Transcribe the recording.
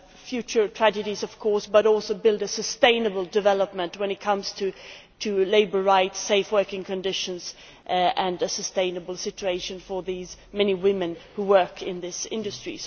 future tragedies, of course, but also to build sustainable development when it comes to labour rights, safe working conditions and a sustainable situation for the many women who work in this industry.